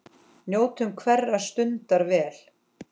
Njóttu hverrar stundar vel.